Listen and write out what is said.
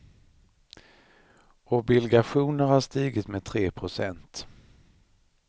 Obilgationer har stigit med tre procent.